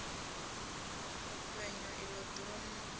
u fhenywa ilo duvha mutambo